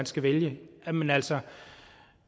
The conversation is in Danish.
skal vælge jamen altså